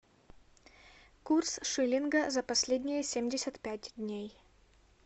курс шиллинга за последние семьдесят пять дней